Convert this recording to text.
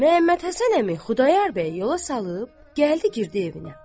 Məhəmmədhəsən əmi Xudayar bəyi yola salıb gəldi girdi evinə.